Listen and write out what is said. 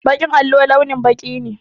Baƙin allo launin baƙi ne.